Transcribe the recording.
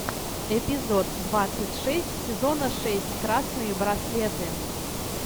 эпизод двадцать шесть сезона шесть красные браслеты